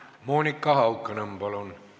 Monika Haukanõmm, palun!